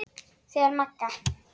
Þegar Magga